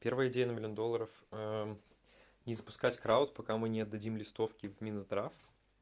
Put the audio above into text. первая идея на миллион доллоров ээ не запускать крауд пока мы не отдадим листовки в минздрав